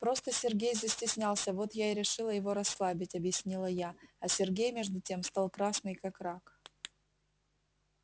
просто сергей застеснялся вот я и решила его расслабить объяснила я а сергей между тем стал красный как рак